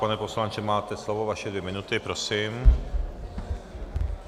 Pane poslanče, máte slovo, vaše dvě minuty, prosím.